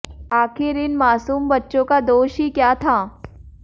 आखिर इन मासूम बच्चों का दोष ही क्या था